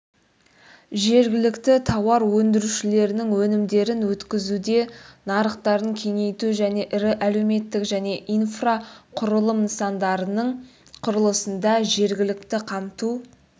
жергілікті тауар өндірушілердің өнімдерін өткізуде нарықтарын кеңейту және ірі әлеуметтік және инфрақұрылым нысандарының құрылысында жергілікті қамту